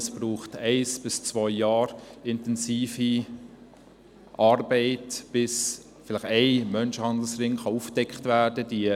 Es braucht ein bis zwei Jahre intensiver Arbeit, bis ein Menschenhandelsring vielleicht aufgedeckt werden kann.